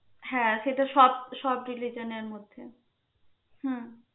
হ্যাঁ সেটা সব সব religion এর মধ্যে হম